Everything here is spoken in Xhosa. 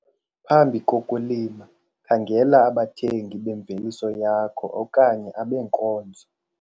Phambi kokulima khangela abathengi bemveliso yakho okanye abeenkonzo.